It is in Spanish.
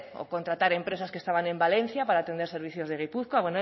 center o contratar empresas que estaban en valencia para atender servicios de